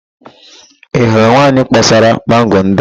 Ị hụrụ nwaanyị kpọsara mango ndị a?